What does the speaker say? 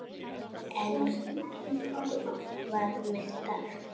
Engum varð meint af.